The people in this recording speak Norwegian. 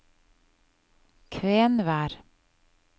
Kvenvær